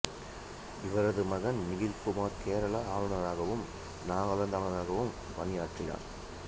இவரது மகன் நிகில் குமார் கேரள ஆளுநராகவும் நாகாலாந்து ஆளுநராகவும் பணியாற்றினார்